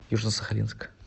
южно сахалинск